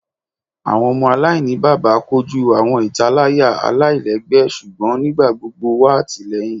Awọn ọmọ alainibaba koju awọn italaya alailẹgbẹ ṣugbọn nigbagbogbo wa atilẹyin